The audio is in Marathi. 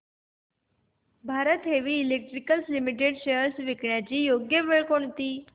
Bharat heavy electricals limited shares विकण्याची योग्य वेळ कोणती